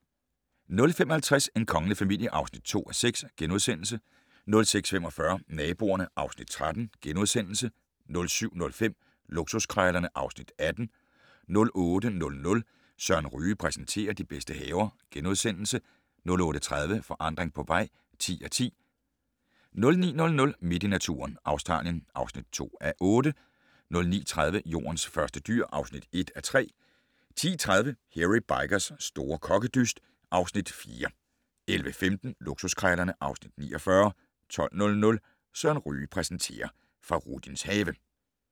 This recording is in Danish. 05:50: En kongelig familie (2:6)* 06:45: Naboerne (Afs. 13)* 07:05: Luksuskrejlerne (Afs. 18) 08:00: Søren Ryge præsenterer: De bedste haver * 08:30: Forandring på vej (10:10) 09:00: Midt i naturen - Australien (2:8) 09:30: Jordens første dyr (1:3) 10:30: Hairy Bikers' store kokkedyst (Afs. 4) 11:15: Luksuskrejlerne (Afs. 49) 12:00: Søren Ryge præsenterer: Fahrudins have